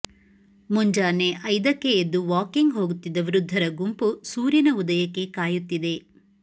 ಮುಂಜಾನೆ ಐದಕ್ಕೆ ಎದ್ದು ವಾಕಿಂಗ್ ಹೋಗುತ್ತಿದ್ದ ವೃದ್ಧರ ಗುಂಪು ಸೂರ್ಯನ ಉದಯಕ್ಕೆ ಕಾಯುತ್ತಿದೆ